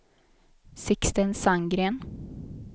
Sixten Sandgren